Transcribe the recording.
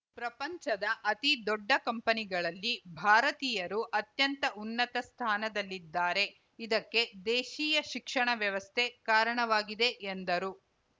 ಪ್ರಪಂಚದ ಅತಿ ದೊಡ್ಡ ಕಂಪನಿಗಳಲ್ಲಿ ಭಾರತೀಯರು ಅತ್ಯಂತ ಉನ್ನತ ಸ್ಥಾನದಲ್ಲಿದ್ದಾರೆ ಇದಕ್ಕೆ ದೇಶೀಯ ಶಿಕ್ಷಣ ವ್ಯವಸ್ಥೆ ಕಾರಣವಾಗಿದೆ ಎಂದರು